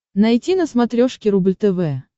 найти на смотрешке рубль тв